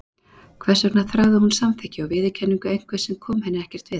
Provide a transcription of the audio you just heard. Hvers vegna þráði hún samþykki og viðurkenningu einhvers sem kom henni ekkert við?